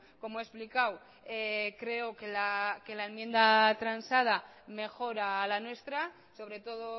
como he explicado creo que la enmienda transada mejora la nuestra sobre todo